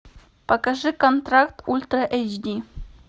покажи контракт ультра эйч ди